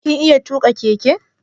Kin iya tuƙa keke?